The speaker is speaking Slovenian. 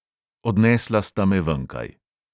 Odnesla sta me venkaj.